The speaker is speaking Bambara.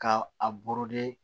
Ka a